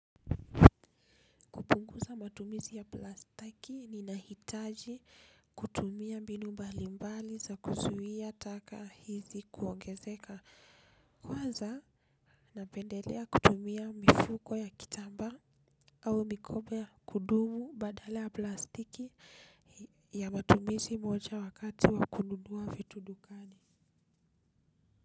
Kupunguza matumizi ya plastiki ninahitaji, kutumia mbinu mbalimbali za kuzuia taka hizi kuongezeka. Kwanza, napendelea kutumia mifuko ya kitambaa au mikoba ya kudumu badala ya plastiki. Ya matumizi moja wakati wa kununua vitu dukani.